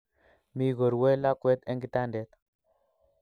Mi korue lakwet eng kitandet